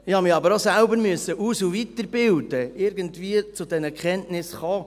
Ich habe mich aber auch selber aus- und weiterbilden müssen, um irgendwie zu diesen Erkenntnissen zu kommen.